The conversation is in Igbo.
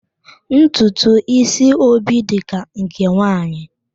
Ntutu ísí Obi dị ka nke nwaanyị